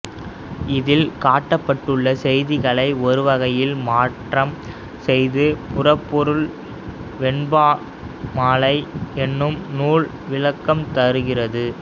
இதில் காட்டப்பட்டுள்ள செய்திகளை ஒருவகையில் மாற்றம் செய்து புறப்பொருள் வெண்பாமாலை என்னும் நூல் விளக்கம் தருகிறது